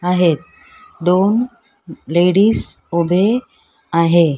आहेत दोन लेडीज उभे आहे.